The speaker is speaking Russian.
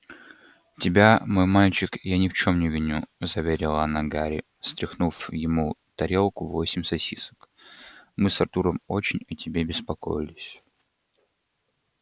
тебя мой мальчик я ни в чем не виню заверила она гарри стряхнув ему тарелку восемь сосисок мы с артуром очень о тебе беспокоились